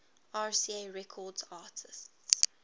rca records artists